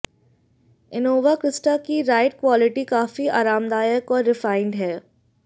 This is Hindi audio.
इनोवा क्रिस्टा की राइड क्वॉलिटी काफी आरामदायक और रिफाइन्ड है